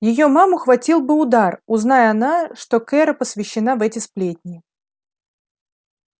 её маму хватил бы удар узнай она что кэро посвящена в эти сплетни